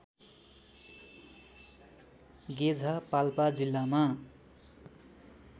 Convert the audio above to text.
गेझा पाल्पा जिल्लामा